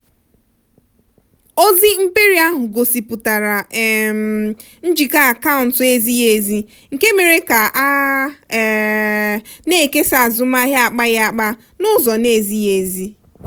ozi mperi ahụ gosipụtara um njikọ akaụntụ ezighi ezi nke mere ka a um na-ekesa azụmahịa akpaghịaka n'ụzọ na-ezighi ezi.